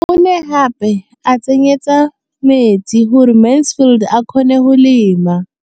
O ne gape a mo tsenyetsa metsi gore Mansfield a kgone go lema.